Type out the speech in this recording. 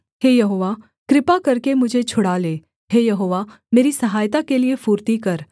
हे यहोवा कृपा करके मुझे छुड़ा ले हे यहोवा मेरी सहायता के लिये फुर्ती कर